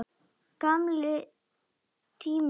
Gamli tíminn er liðinn.